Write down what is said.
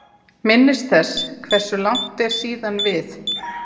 Minnist þess hversu langt er síðan við